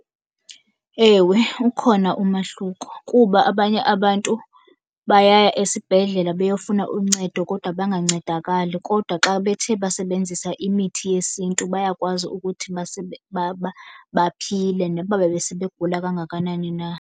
Ewe, ukhona umahluko kuba abanye abantu bayaya esibhedlele beyofuna uncedo kodwa bangancedakali. Kodwa xa bethe basebenzisa imithi yesiNtu bayakwazi ukuthi baphile noba bebesebegula kangakanani na.